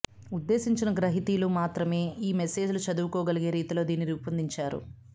ఉద్దేశించిన గ్రహీతలు మాత్రమే ఈ మెసేజ్ లు చదువుకోగలిగే రీతిలో దీన్ని రూపొందించారు